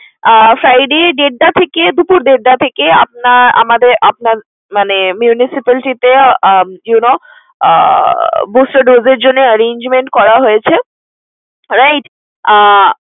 আহ Friday দেড়টা থেকে দুপুর দেড়টা থেকে আপনার আমাদের আপনার মানে municipality তে um you know booster dose এর জন্যে arrangement করা হয়েছে right আহ